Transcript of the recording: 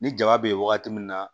Ni jaba bɛ wagati min na